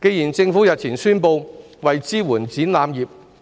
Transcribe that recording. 既然政府日前宣布為支援展覽業